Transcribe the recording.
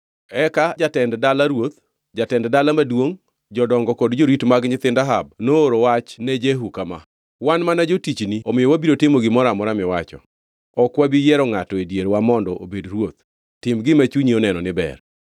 Eka jatend dala ruoth, jatend dala maduongʼ, jodongo kod jorit mag nyithind Ahab nooro wachni ne Jehu kama: “Wan mana jotichni omiyo wabiro timo gimoro amora miwacho. Ok wabi yiero ngʼato e dierwa mondo obed ruoth, tim gima chunyi oneno ni ber.”